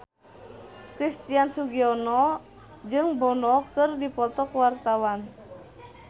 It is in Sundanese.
Christian Sugiono jeung Bono keur dipoto ku wartawan